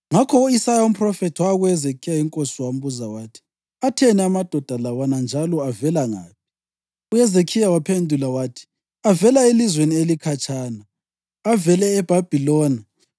Ngakho u-Isaya umphrofethi waya kuHezekhiya inkosi wambuza wathi, “Atheni amadoda lawana njalo avela ngaphi?” UHezekhiya waphendula wathi: “Avela elizweni elikhatshana. Avele eBhabhiloni.”